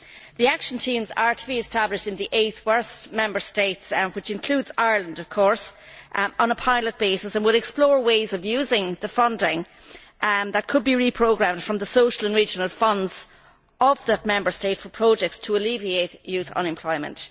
The action teams are to be established in the eight worst Member States, which includes Ireland of course, on a pilot basis and would explore ways of using the funding that could be reprogrammed from the social and regional funds of that Member State for projects to alleviate youth unemployment.